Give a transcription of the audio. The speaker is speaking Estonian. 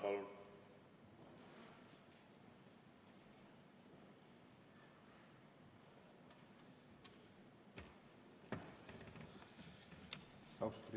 Palun!